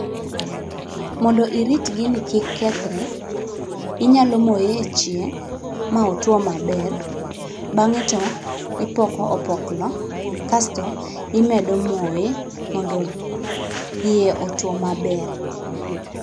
Mondo irit gini kik kethre, inyalo moye e chieng', ma otuo maber. Bang'e to ipoko opoklo, kasto imedo moye mondo iye otuo maber.